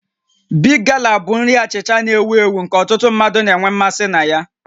Big Gala bụ nri achịcha achịcha na-ewu ewu nke ọtụtụ mmadụ na-enwe mmasị na ya